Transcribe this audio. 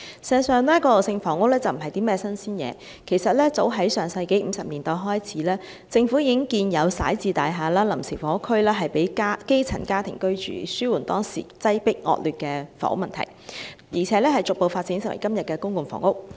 事實上，過渡性房屋並不是新鮮事，早在上世紀50年代開始，政府已經建有徙置大廈和臨時房屋供基層家庭居住，以紓緩當時擠迫、惡劣的房屋問題，並逐步發展為今天的公共房屋。